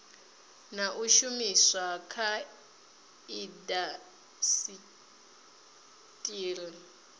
na u shumiswa kha indasiteri